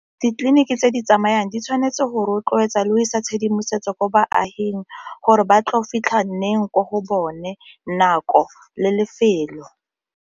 Ditleliniki tse di tsamayang di tshwanetse go rotloetsa le go isa tshedimosetso ko baaging gore ba tlo fitlhang nneng ko go bone nako le lefelo.